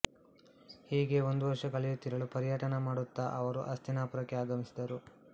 ಹೀಗೆ ಒಂದು ವರ್ಷ ಕಳೆಯುತ್ತಿರಲು ಪರ್ಯಟನ ಮಾಡುತ್ತಾ ಅವರು ಹಸ್ತಿನಾಪುರಕ್ಕೆ ಆಗಮಿಸಿದರು